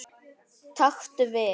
Taktu við.